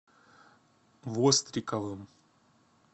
востриковым